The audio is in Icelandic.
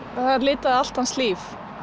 það litaði allt hans líf